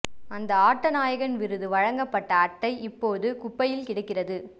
அந்த ஆட்ட நாயகன் விருது வழங்கப்பட்ட அட்டை இப்போது குப்பையில் கிடக்கிறது